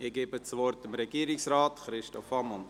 Ich gebe das Wort Regierungsrat Christoph Ammann.